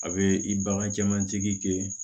A bɛ i bagan jamanjigi kɛ